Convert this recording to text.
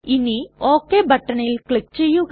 ഇനി ഒക് ബട്ടണിൽ ക്ലിക് ചെയ്യുക